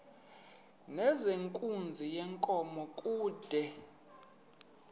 nezenkunzi yenkomo kude